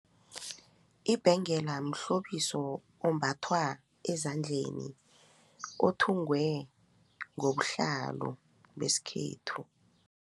Ibhengela mhlobiso ombathwa ezandleni othungwe ngobuhlalo besikhethu.